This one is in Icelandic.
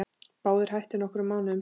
Báðir hættu nokkrum mánuðum seinna.